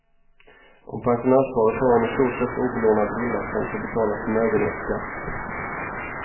Om pensionärsparet har en i stort sett obelånad villa kan de få betala förmögenhetsskatt.